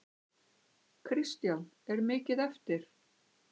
Kristján: Er mikið eftir?